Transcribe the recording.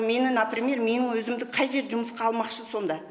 мені например менің өзімді қай жер жұмысқа алмақшы сонда